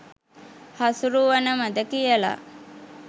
හසුරුවනවද කියල.